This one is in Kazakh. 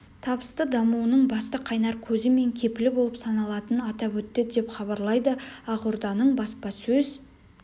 табысты дамуының басты қайнар көзі мен кепілі болып саналатынын атап өтті деп хабарлайды ақорданың баспасөз